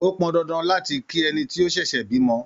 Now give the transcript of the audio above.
Ó pọn dandan láti kí ẹni tó ṣẹ̀ṣẹ̀ bímọ.